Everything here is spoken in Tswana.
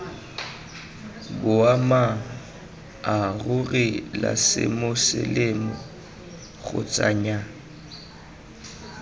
boammaaruri la semoseleme kgotsa nnyaa